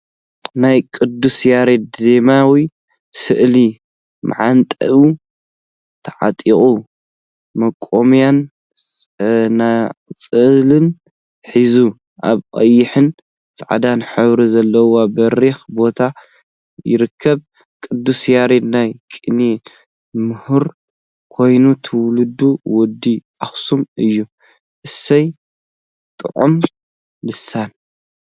ናይ ቅዱስ ያሬድ ዜማዊ ስእሊ መዓንጥኡ ተዓጢቁ መቆምያን ፀናፅልን ሒዙ አብ ቀይሕን ፃዕዳን ሕብሪ ዘለዎ በሪክ ቦታ ይርከብ፡፡ ቅዱሰ ያሬድ ናይ ቅኔ ምሁር ኮይኑ ትውልዱ ወዲ አክሱም እዩ፡፡ አሰይ ጡዑመ ልሳን!